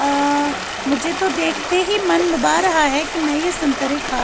--آ مجھے تو دیکھتے ہی من لبھا رہا ہیں کی مے یہ سنترے خا